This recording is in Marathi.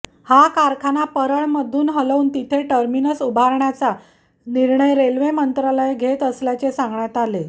हा कारखाना परळमधून हलवून तिथे टर्मिनस उभारण्याचा निर्णय रेल्वे मंत्रालय घेत असल्याचे सांगण्यात आले